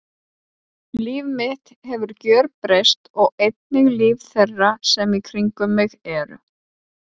Líf mitt hefur gjörbreyst og einnig líf þeirra sem í kringum mig eru.